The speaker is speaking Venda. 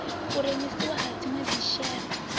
u rengisiwa ha dzinwe dzishere